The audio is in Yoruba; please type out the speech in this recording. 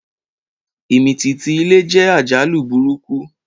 Ìmìtìtì ilẹ̀ jẹ́ àjálù burúkú